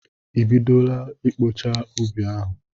I bidola ịkpọcha ubi ahụ?